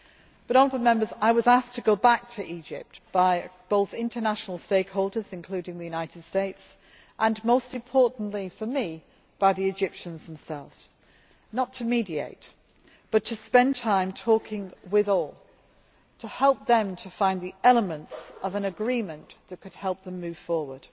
But I was asked to go back to Egypt both by international stakeholders, including the United States and most importantly for me, by the Egyptians themselves not to mediate but to spend time talking with all to help them to find the elements of an agreement that could help them move forward.